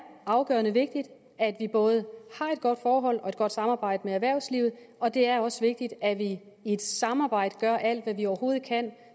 afgørende vigtigt at vi både har et godt forhold til og et godt samarbejde med erhvervslivet og det er også vigtigt at vi i et samarbejde gør alt hvad vi overhovedet kan